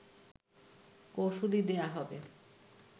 কৌঁসুলি দেয়া হবে